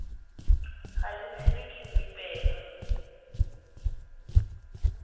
ga le tshelwe ke mmipela